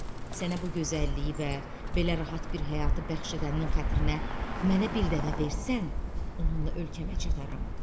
Sənə bu gözəlliyi və belə rahat bir həyatı bəxş edənin xatirinə mənə bir dəvə versən, onunla ölkəmə çataram.